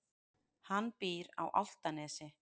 Hann býr á Álftanesi.